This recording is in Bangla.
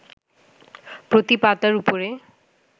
প্রতি পাতার ওপরে